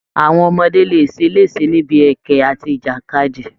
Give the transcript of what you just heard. Àwọn ọmọdé lè ṣeléṣe níbi ẹkẹ àti ìjàkadì